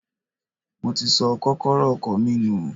Mo ti sọ kókọ́rọ́ ọkọ̀ mi nù.